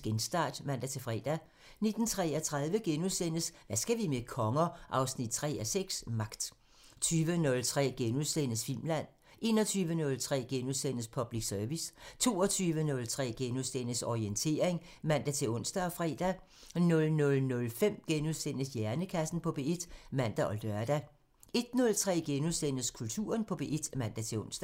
Genstart *(man-fre) 19:33: Hvad skal vi med konger? 3:6 – Magt * 20:03: Filmland *(man) 21:03: Public Service *(man) 22:03: Orientering *(man-ons og fre) 00:05: Hjernekassen på P1 *(man og lør) 01:03: Kulturen på P1 *(man-ons)